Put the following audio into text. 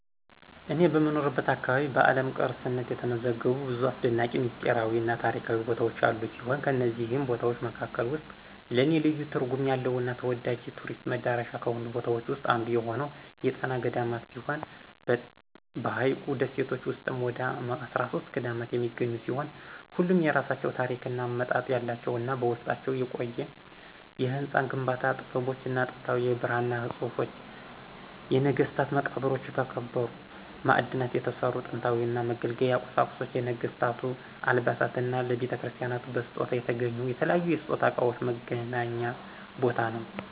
እኔ በምኖርበት አካባቢ በዓለም ቅርስነት የተመዘገቡ ብዙ አሰደናቂ፣ ሚስጥራዊ እና ታሪካዊ ቦታዎች ያሉ ሲሆን ከነዚህም ቦታዎች መካከል ውስጥ ለኔ ልዩ ትርጉም ያለው እና ተወዳጅ የቱሪስት መዳረሻ ከሆኑት ቦታዎች ዉስጥ አንዱ የሆነው የጣና ገዳማት ሲሆን በሀይቁ ደሴቶች ውስጥም ወደ 13 ገዳማት የሚገኙ ሲሆን ሁሉም የየራሳቸው ታሪክ እና አመጣጥ ያላቸው እና በውስጣቸውም የቆዩ የህንፃ ግንባታ ጥበቦች፣ ጥንታዊ የብራና ፅሁፎች፣ የነገስታት መቃብሮች፣ ከከበሩ ማዕድናት የተሰሩ ጥንታዊ መገልገያ ቁሳቁሶች፣ የነገስታቱ አልባሳት እና ለቤተክርስቲያናቱ በስጦታ የተገኙ የተለያዩ የስጦታ እቃዎች መገናኛ ቦታ ነው።